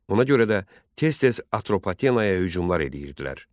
Ona görə də tez-tez Atropatenaya hücumlar eləyirdilər.